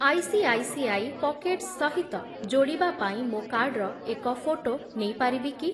ICICI Pockets ସହିତ ଯୋଡ଼ିବା ପାଇଁ ମୋ କାର୍ଡ଼ର ଏକ ଫୋଟୋ ନେଇପାରିବି କି?